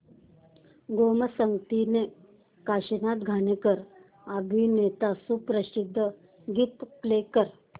गोमू संगतीने हे काशीनाथ घाणेकर अभिनीत सुप्रसिद्ध गीत प्ले कर